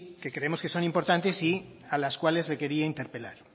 que creemos que son importantes y a las cuales le quería interpelar